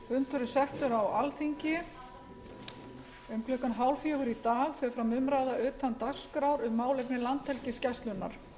um klukkan hálffjögur í dag fer fram umræða utan dagskrár um málefni landhelgisgæslunnar